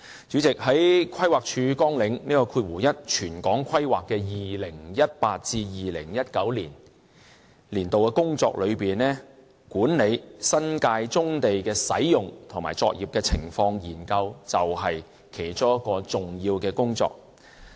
主席，在規劃署綱領1全港規劃的 2018-2019 年度工作之中，管理新界棕地使用及作業現況研究是其中一項重要工作。